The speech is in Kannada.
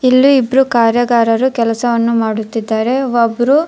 ಇಲ್ಲಿ ಇಬ್ರು ಕಾರ್ಯಗಾರರು ಕೆಲಸವನ್ನು ಮಾಡುತ್ತಿದ್ದಾರೆ ಒಬ್ರು --